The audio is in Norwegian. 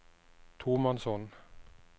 tomannshånd